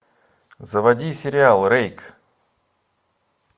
заводи сериал рейк